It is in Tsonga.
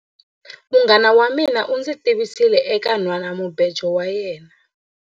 Munghana wa mina u ndzi tivisile eka nhwanamubejo wa yena.